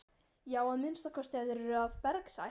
Já að minnsta kosti ef þeir eru af bergsætt.